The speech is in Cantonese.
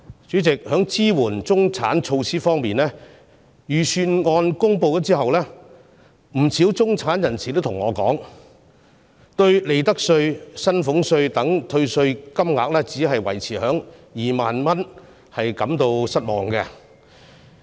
主席，在支援中產的措施方面，預算案公布之後，不少中產人士向我表示，他們對利得稅、薪俸稅等退稅金額只維持在2萬元，感到失望。